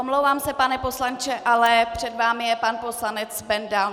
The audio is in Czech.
Omlouvám se, pane poslanče, ale před vámi je pan poslanec Benda.